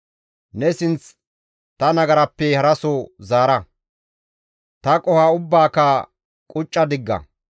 Ne sinth ta nagarappe haraso zaara; ta qoho ubbaaka qucca digga.